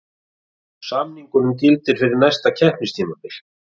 Samningurinn gildir fyrir næsta keppnistímabil